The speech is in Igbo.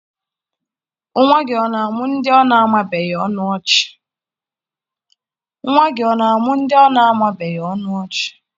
Nwa gị ọ na-amụọ ndị ọ na-amabughị ọnụ ọchị?